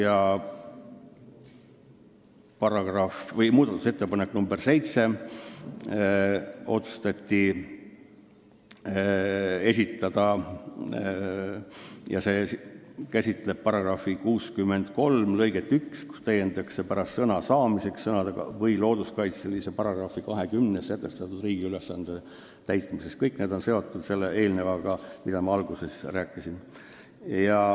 Komisjon otsustas esitada ka muudatusettepaneku nr 7, mis käsitleb § 63 lõiget 1, mida täiendatakse pärast sõna "saamiseks" sõnadega "või looduskaitseseaduse §-s 20 sätestatud riigi ülesande täitmiseks".